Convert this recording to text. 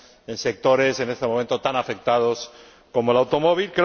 en sectores en este momento tan afectados como el automóvil.